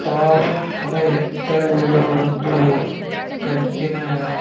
tower ತರ ಎತ್ತರ ಇರುವ ಒಂದು ಕರೆಂಟಿನ (--